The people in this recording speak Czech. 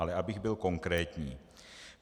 Ale abych byl konkrétní.